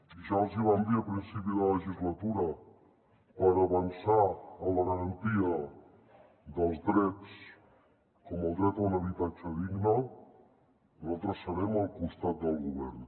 i ja els hi vam dir a principi de legislatura per avançar en la garantia dels drets com el dret a un habitatge digne nosaltres serem al costat del govern